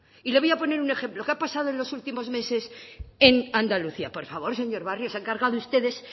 y le voy a poner un ejemplo qué ha pasado en los últimos meses en andalucía por favor señor barrio se han cargado ustedes